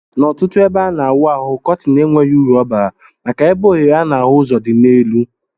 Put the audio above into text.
Na ọtụtụ ebe ana awụ ahụ kọtin enweghi uru ọbara maka na ebe ohere ana afụ ụzọ di na elu.